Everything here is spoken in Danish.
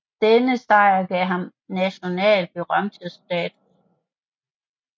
Denne sejr gav ham national berømthedsstatus